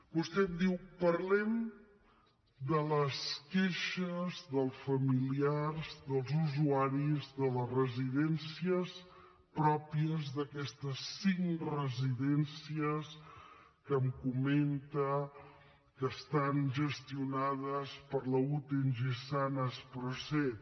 vostè em diu parlem de les queixes dels familiars dels usuaris de les residències pròpies d’aquestes cinc residències que em comenta que estan gestionades per la ute ingesan asproseat